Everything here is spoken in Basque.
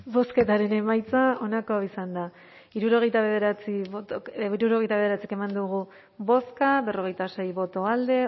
bozketaren emaitza onako izan da hirurogeita bederatzi eman dugu bozka berrogeita sei boto alde